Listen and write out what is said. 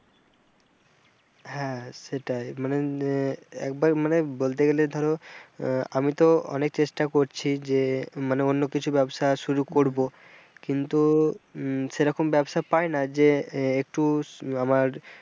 হ্যাঁ সেটাই মানে একবার মানে বলতে গেলে ধরো, আহ আমি তো অনেক চেষ্টা করছি যে মানে অন্য কিছু ব্যবসা শুরু করব কিন্তু উম সেরকম ব্যবসা পাই না যে একটু আমার,